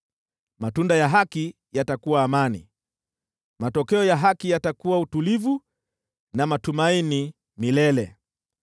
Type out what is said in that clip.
Matunda ya haki yatakuwa amani, matokeo ya haki yatakuwa utulivu na matumaini milele.